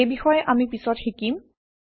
এই বিষয়ে আমি পিছত শিকিম